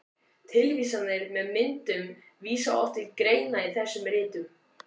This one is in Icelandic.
Tilvísanir með myndum vísa oft til greina í þessum ritum.